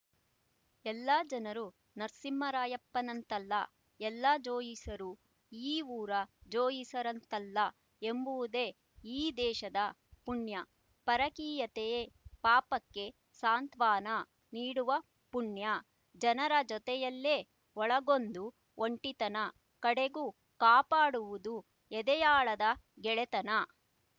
ಎಲ್ಲ ಜನರೂ ನರಸಿಂಹರಾಯಪ್ಪನಂತಲ್ಲ ಎಲ್ಲ ಜೋಯಿಸರೂ ಈ ಊರ ಜೋಯಿಸರಂತಲ್ಲ ಎಂಬುವುದೇ ಈ ದೇಶದ ಪುಣ್ಯ ಪರಕೀಯತೆಯ ಪಾಪಕ್ಕೆ ಸಾಂತ್ವನ ನೀಡುವ ಪುಣ್ಯ ಜನರ ಜೊತೆಯಲ್ಲೇ ಒಳಗೊಂದು ಒಂಟಿತನ ಕಡೆಗೂ ಕಾಪಾಡುವುದು ಎದೆಯಾಳದ ಗೆಳೆತನ